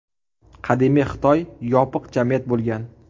Qadimiy Xitoy yopiq jamiyat bo‘lgan.